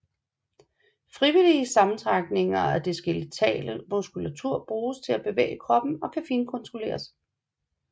Frivillige sammentrækninger af den skeletale muskulatur bruges til at bevæge kroppen og kan finkontrolleres